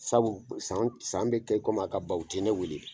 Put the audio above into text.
Sabu san san bɛ kɛ kɔmi a ka ban u tɛ ne wele.